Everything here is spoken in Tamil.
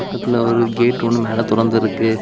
பக்கத்துல ஒரு கேட் ஒன்னு மேல தொறந்து இருக்கு.